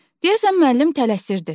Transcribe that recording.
Deyəsən müəllim tələsirdi.